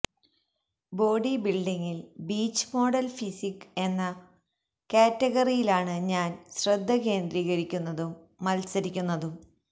body ബിൽഡിങ്ങിൽ beach model physique എന്ന കാറ്റഗറിയിലാണ് ഞാൻ ശ്രദ്ധ കേന്ദ്രീകരിക്കുന്നതും മത്സരിക്കുന്നതും